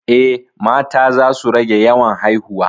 Eh, mata za su rage yawan haihuwa